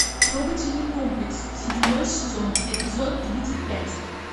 трогательный комплекс седьмой сезон эпизод тридцать пять